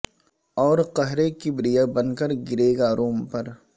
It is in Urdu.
اور قہر کبریا بن کر گرے گا روم پر